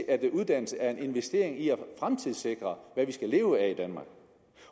at uddannelse er en investering i at fremtidssikre hvad vi skal leve af i danmark